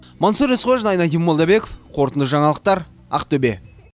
мансұр есқожин айнадин молдабеков қорытынды жаңалықтар ақтөбе